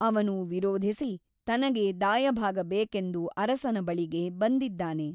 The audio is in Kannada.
ಅವನು ವಿರೋಧಿಸಿ ತನಗೆ ದಾಯಭಾಗ ಬೇಕೆಂದು ಅರಸನ ಬಳಿಗೆ ಬಂದಿದ್ದಾನೆ.